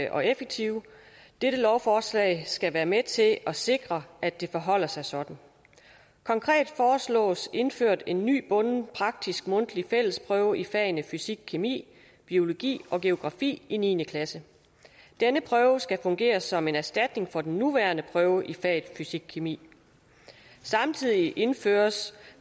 og effektive og dette lovforslag skal være med til at sikre at det forholder sig sådan konkret foreslås indført en ny bunden praktisk mundtlig fællesprøve i fagene fysikkemi biologi og geografi i niende klasse denne prøve skal fungere som en erstatning for den nuværende prøve i faget fysikkemi samtidig indføres